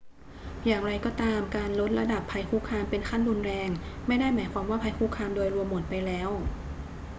อย่างไรก็ตาม การลดระดับภัยคุกคามเป็นขั้นรุนแรงไม่ได้หมายความว่าภัยคุกคามโดยรวมหมดไปแล้ว